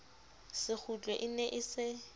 sekgutlo e ne e se